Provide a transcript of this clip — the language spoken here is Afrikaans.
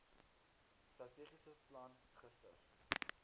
strategiese plan gister